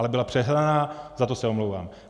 Ale byla přehnaná, za to se omlouvám.